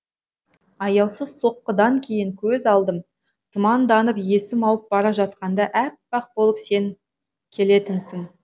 аяусыз соққыдан кейін көз алдым тұманданып есім ауып бара жатқанда әппақ болып сен келетінсің